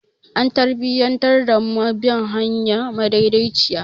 An tarbiyantar da mu da bin hanya madaidaiciya.